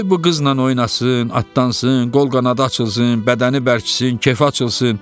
Qoy bu qızla oynasın, atdansın, qol-qanadı açılsın, bədəni bərksin, kefi açılsın.